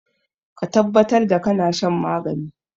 Ka tabbatar da kana shan maganin!